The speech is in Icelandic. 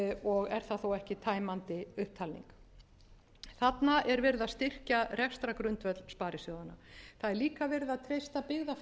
og er það þó ekki tæmandi upptalning þarna er verið að styrkja rekstrargrundvöll sparisjóðanna það er